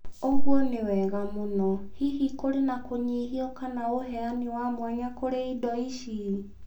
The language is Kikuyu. ũguo nĩ wega mũno. Hihi kũrĩ na kũnyihio kanaũheani wa mwanya kũrĩ indo ici?